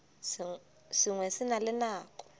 sengwe se na le nako